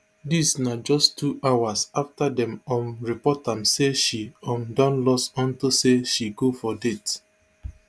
dis na just two hours afta dem um report am say she um don lost unto say she go for date